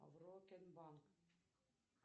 аврокен банк